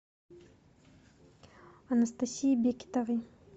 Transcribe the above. анастасии бекетовой